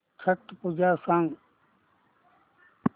छट पूजा सांग